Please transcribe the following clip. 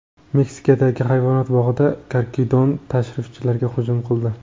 Meksikadagi hayvonot bog‘ida karkidon tashrifchilarga hujum qildi .